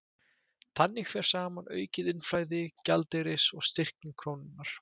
Þannig fer saman aukið innflæði gjaldeyris og styrking krónunnar.